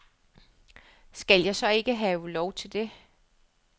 Skal jeg så ikke have lov til det?